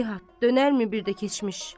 heyhat, dönərmi bir də keçmiş?